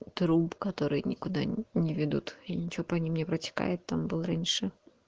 труп который никуда не ведут и ничего по ним не протекает там был раньше